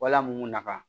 Wala mun nafa